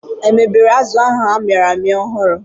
Emebere azụ a mịrị amị ahu ọhụrụ